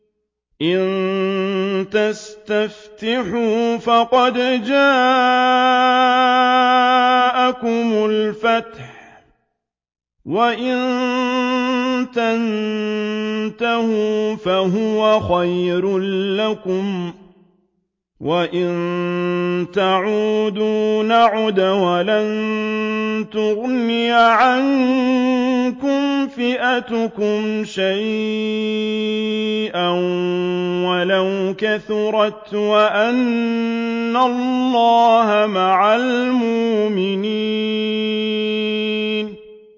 إِن تَسْتَفْتِحُوا فَقَدْ جَاءَكُمُ الْفَتْحُ ۖ وَإِن تَنتَهُوا فَهُوَ خَيْرٌ لَّكُمْ ۖ وَإِن تَعُودُوا نَعُدْ وَلَن تُغْنِيَ عَنكُمْ فِئَتُكُمْ شَيْئًا وَلَوْ كَثُرَتْ وَأَنَّ اللَّهَ مَعَ الْمُؤْمِنِينَ